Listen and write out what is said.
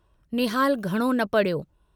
निहालु घणो न पढ़ियो।